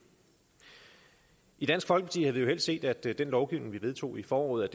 i dansk folkeparti havde vi jo helst set at den lovgivning vi vedtog i foråret